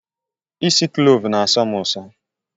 Ịsi klovu na asọ m uso